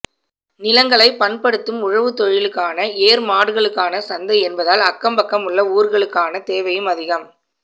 நிலங்களை பண்படுத்தும் உழவுத்தொழிலுக்கான ஏர் மாடுகளுக்கான சந்தை என்பதால் அக்கம் பக்கம் உள்ள ஊர்களுக்கான தேவையும் அதிகம்